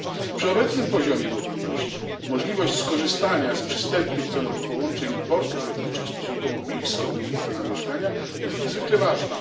Przy obecnym poziomie mobilności możliwość skorzystania z przystępnych cenowo połączeń i portów lotniczych stosunkowo blisko miejsca zamieszkania jest niezwykle ważna.